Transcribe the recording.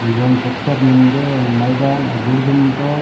Aegon tractor मिन्दे ऑन मइदान अगूड डूमतोड।